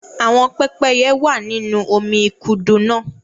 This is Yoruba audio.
Àwọn pépéye wa nínú omí ikudu náa.